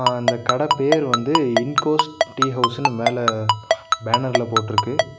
அ அந்தக் கட பேரு வந்து இண்கோஸ்ட் டீ ஹவுஸ்ன்னு மேல பேனர்ல போட்டுருக்கு.